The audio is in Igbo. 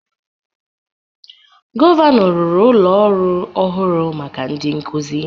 Gọvanọ rụrụ ụlọ ọrụ ọhụrụ maka ndị nkuzi